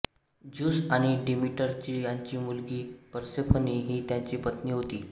Zeus आणि डीमीटरची यांची मुलगी पर्सेफनी ही त्याची पत्नी होती